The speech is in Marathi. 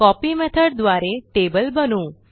कॉपी मेथॉड द्वारे टेबल बनवू